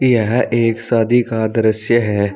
यह एक शादी का दृश्य है।